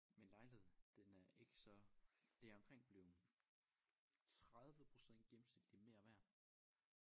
Men lejligheden den er ikke så det er omkring blevet 30 % gennemsnitligt mere værd